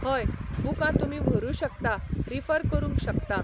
हय बुकां तुमी व्हरु शकता रिफर करूंक शकता